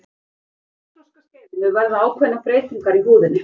á kynþroskaskeiðinu verða ákveðnar breytingar í húðinni